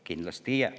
Kindlasti ei jää.